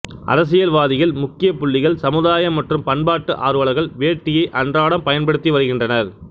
அரசியல்வாதிகள் முக்கியப் புள்ளிகள் சமுதாய மற்றும் பண்பாட்டு ஆர்வலர்கள் வேட்டியை அன்றாடம் பயன்படுத்தி வருகின்றனர்